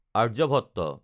Aryabhatta